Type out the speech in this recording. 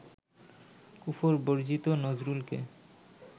কুফর-বর্জিত নজরুলকে